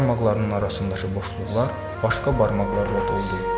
Barmaqlarının arasındakı boşluqlar başqa barmaqlar roldu.